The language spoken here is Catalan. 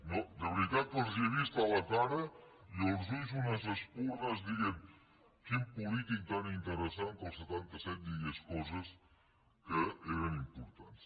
no de veritat que els he vist a la cara i als ulls unes espurnes que deien quin polític tan interessant que al setanta set digués coses que eren importants